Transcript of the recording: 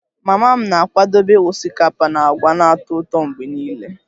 Mama m na-akwadebe osikapa na agwa na-atọ ụtọ mgbe niile